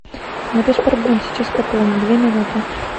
да без проблем сейчас пополню две минуты